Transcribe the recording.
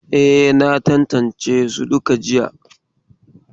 E, na tantance su duka jiya.